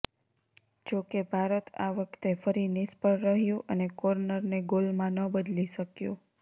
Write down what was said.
જો કે ભારત આ વખતે ફરી નિષ્ફળ રહ્યુ અને કોર્નરને ગોલમાં ન બદલી શક્યુ